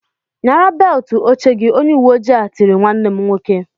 "Nyara beltụ oche gị!" Onye uweoji ahụ tiri nwanne m nwoke.